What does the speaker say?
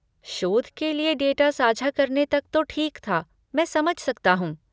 शोध के लिए डेटा साझा करने तक तो ठीक था, मैं समझ सकता हूँ।